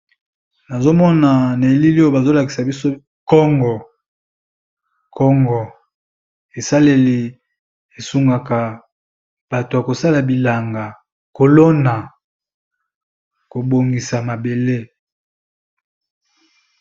Nazomona na elili oyo bazolakisa biso kongo esaleli esungaka bato ya kosala bilanga kolona kobongisa mabele.